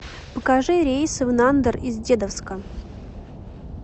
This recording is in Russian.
покажи рейсы в нандер из дедовска